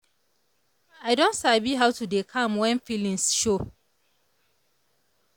i don sabi how to dey calm when feelings show.